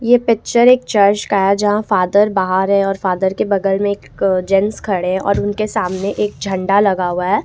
ये पिक्चर एक चर्ज का है जहां फादर बाहर है और फादर के बगल में एक जेंट्स खड़े और उनके सामने एक झंडा लगा हुआ है।